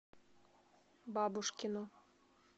бабушкину